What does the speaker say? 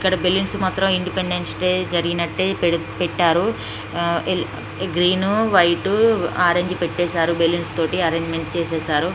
ఇక్కడ బెలూన్స్ మాత్రం independence day జరిగినట్టే పేడు పెట్టారు ఆ గ్రీన్ వైట్ ఆరెంజ్ పెట్టేశారు బెలూన్స్ తోటి అరేంజ్మెంట్ చేసారు.